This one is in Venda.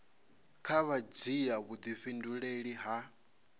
kha vha dzhia vhudifhinduleli ha